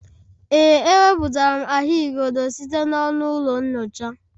Ee, ewepụtara m ahụigodo site n'ọnụ ụlọ nyocha